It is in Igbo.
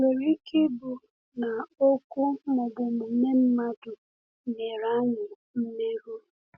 Ị̀ nwere ike ịbụ na okwu ma ọ bụ omume mmadụ mere anyị mmerụ?